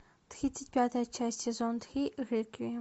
тридцать пятая часть сезон три реквием